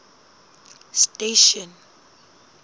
station